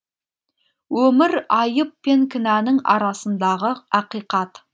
өмір айып пен кінәнің арасындағы ақиқат